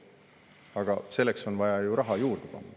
Aga selleks on vaja ju raha juurde panna.